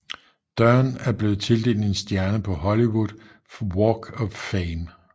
Dern er blevet tildelt en stjerne på Hollywood Walk of Fame